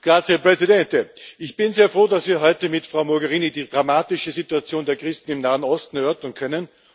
Herr Präsident! Ich bin sehr froh, dass wir heute mit Frau Mogherini die dramatische Situation der Christen im Nahen Osten erörtern können.